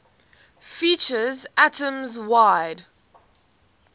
features atoms wide